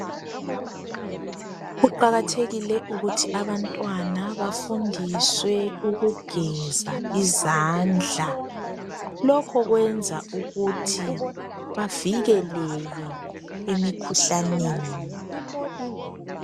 Kuqakathekile ukuthi abantwana bafundiswe ukugeza izandla. Lokho kuyenza ukuthi bavikeleke emikhuhlaneni.